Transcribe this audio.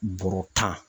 Bɔrɔ tan